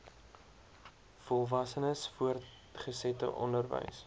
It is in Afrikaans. volwassenes voortgesette onderwys